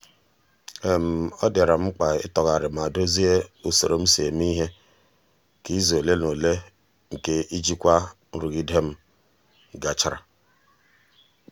ọ dịara m mkpa ịtọgharị ma dozie usoro m si eme ihe ka izu ole na ole nke ijikwa nrụgide m gachara.